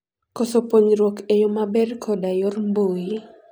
Koso puonjruok e yo maber koda yor mbui.